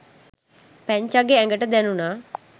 පැංචාගේ ඇඟට දැණුනා